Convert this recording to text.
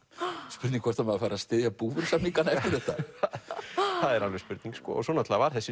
spurning hvort styður búvörusamningana eftir þetta það er alveg spurning sko svo var þessi